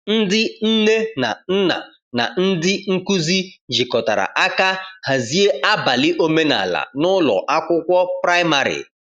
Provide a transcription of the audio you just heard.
Ndị nne na nna na ndị nkuzi jikọtara aka hazie abalị omenala n’ụlọ akwụkwọ praịmarị.